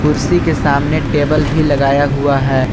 कुर्सी के सामने टेबल भी लगाया हुआ है।